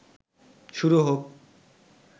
শুরু হোক